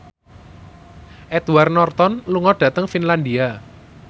Edward Norton lunga dhateng Finlandia